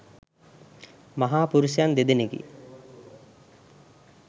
මහා පුරුෂයන් දෙදෙනෙකි.